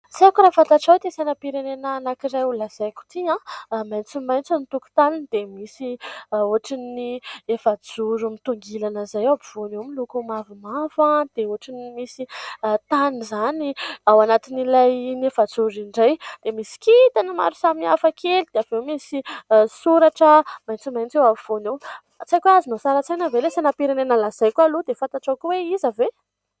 Tsy aiko raha fantatrao ity sainam-pirenena anakiray ho lazaiko ity, maitsomaitso ny tokotaniny dia misy ohatran'ny efa-joro mitongilana izay ao ampovoany eo, miloko mavomavo dia ohatran'ny misy tany izany ao anatin'ilay iny efa-joro iny indray dia misy kitana maro samy hafa kely dia avy eo misy soratra maitsomaitso eo afovoany tsy aiko azonao sary an-tsaina ve ilay sainam-pirenena lazaiko aloha dia fantatra koa hoe iza ve?